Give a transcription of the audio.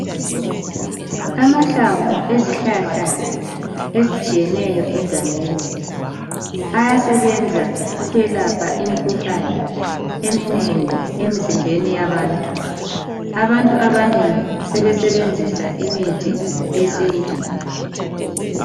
Amahlamvu ezihlahla ezitshiyeneyo egangeni ayasebenza ukwelapha imikhuhlane eminengi emizimbeni yabantu. Abantu abanengi sebesebenzisa imithi yesintu.